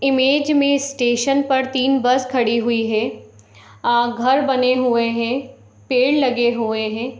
Image में station पर तीन बस खड़ी हुई हैं अ घर बने हुए हैं पेड़ लगे हुए हैं।